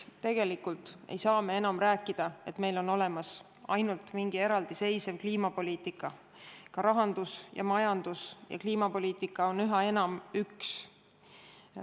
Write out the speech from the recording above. Tegelikult ei saa me enam rääkida, et meil on olemas ainult mingi eraldiseisev kliimapoliitika, rahandus- ja majandus- ja kliimapoliitika on üha enam üks.